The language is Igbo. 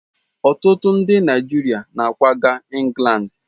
Ọtụtụ ndị Naijiria na akwaga Ingland.